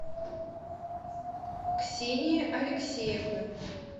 ксении алексеевны